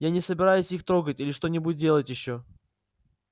я не собираюсь их трогать или что-нибудь делать ещё